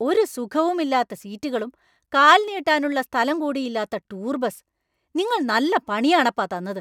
ഒരു സുഖവുമില്ലാത്ത സീറ്റുകളും കാൽ നീട്ടാനുള്ള സ്ഥലം കൂടി ഇല്ലാത്ത ടൂർ ബസ്. നിങ്ങൾ നല്ല പണിയാണപ്പാ തന്നത്!